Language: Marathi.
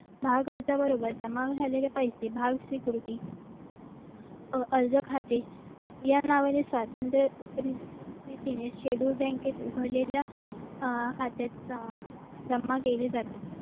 भाव गळत्या बरोबर जमा झालेले पैसे भारतीय संस्कृती अर्ज खाते या नावीन्य स्वतंत्र बँकेत उघडलेल्या खात्यात जमा केले जाते